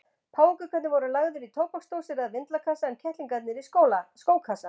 Páfagaukarnir voru lagðir í tóbaksdósir eða vindlakassa en kettlingar í skókassa.